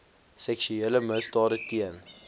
seksuele misdade teen